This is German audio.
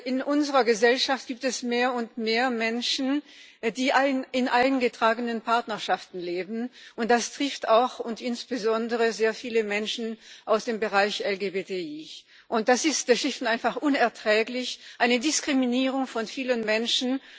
In unserer Gesellschaft gibt es mehr und mehr Menschen, die in eingetragenen Partnerschaften leben. Und das trifft auch und insbesondere sehr viele Menschen aus dem Bereich LGBTI. Das ist schlicht und einfach unerträglich, eine Diskriminierung von vielen Menschen.